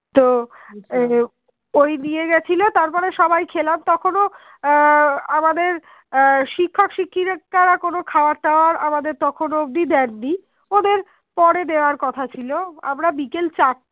ঐ নিয়েগেছিলো তারপরে সবাই খেলাম তখন আহ আমাদের আহ শিক্ষক শিক্ষিকারা কোন খাবার দাবার আমাদের তখনও অব্দি দেননি ওদের পরে দেয়ার কথা ছিল আমরা বিকেল চারটে